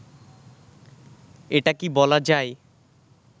এটা কি বলা যায়